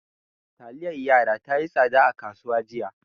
Taliyar yara tayi tsada a kasuwa jiya